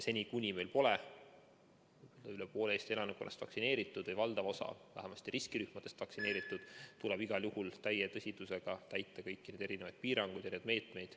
Seni, kuni meil pole üle poole Eesti elanikkonnast vaktsineeritud või valdav osa vähemasti riskirühmadest vaktsineeritud, tuleb igal juhul täie tõsidusega täita kõiki neid piiranguid ja meetmeid.